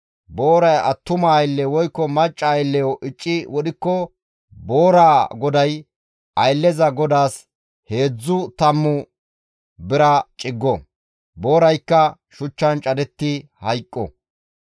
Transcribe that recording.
Booray attuma aylle woykko macca aylleyo icci wodhikko booraa goday aylleza godaas heedzdzu tammu bira ciggo; booraykka shuchchan cadettidi hayqqo.